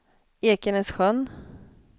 Ekenässjön